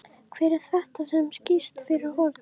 Hver er þetta sem skýst fyrir horn?